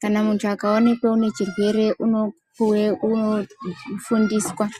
kana muntu akaonekee unechirwere unofundiswa.